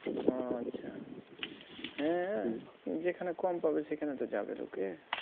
ও আচ্ছা হ্যাঁ যেখানে কম পাবে সেখানে তো যাবে লোকে